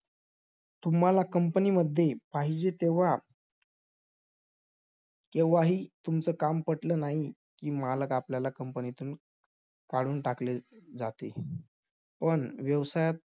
तुम्हाला company मध्ये पाहिजे, तेव्हा केव्हाही तुमचं काम पटलं नाही, की मालक आपल्याला company तून काढून टाकले जाते. पण व्यवसायात तुम्ही~